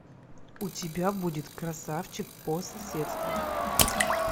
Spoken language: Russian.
у тебя будет красавчик по соседству